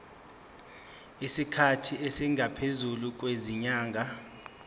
isikhathi esingaphezulu kwezinyanga